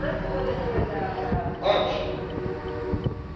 Antes ou depois da, da. Antes!